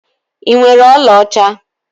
Ị nwere ọlaọcha?